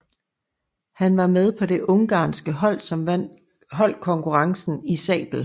Han var med på det ungarske hold som vandt holdkonkurrencen i sabel